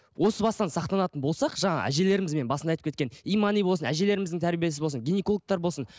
осы бастан сақтанатын болсақ жаңа әжелерімізбен мен басында айтып кеткен имани болсын әжелеріміздің тәрбиесі болсын гинекологтар болсын